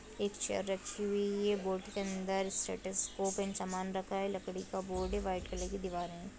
एक चेयर रखी हुई है बोर्ड के अंदर स्टेथोस्कोप एण्ड सामान रखा है लकड़ी का बोर्ड है व्हाइट कलर की दीवार है।